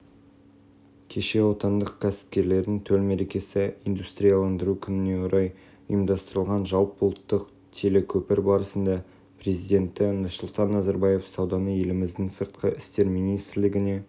естеріңізге сала кетейік бірер күн бұрын ердоған түркияның ресеймен қытаймен және иранмен арадағы саудасында тек осы мемлекеттердің валютасы қолданылатынын мәлімдеген еді